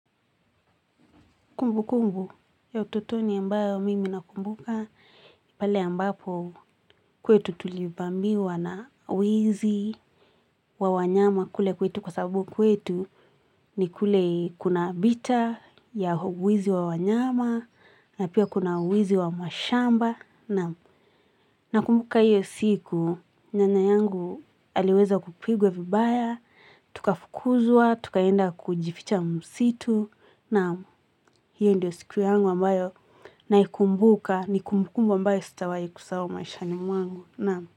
Kumbu kumbu ya ututoni ambayo mimi nakumbuka pale ambapo kwetu tulivamiwa na wizi wa wanyama kule kwetu kwa sababu kwetu ni kule kuna vita ya wizi wa wanyama na pia kuna wizi wa mashamba na kumbuka hiyo siku nyanya yangu aliweza kupigwe vibaya, tukafukuzwa, tukaenda kujificha msitu na hiyo ndio siku yangu ambayo na ikumbuka ni kumbukumbu ambayo sitawahi kusawa maishani mwangu.